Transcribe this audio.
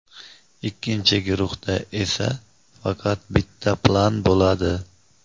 Ikkinchi guruhda esa faqat bitta plan bo‘ladi.